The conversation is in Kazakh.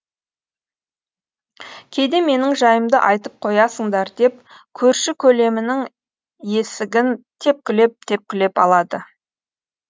кейде менің жайымды айтып қоясыңдар деп көрші көлемінің есігін тепкілеп тепкілеп алады